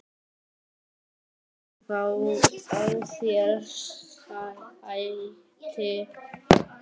Viltu ekki fá þér sæti?